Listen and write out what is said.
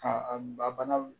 Ka a balawu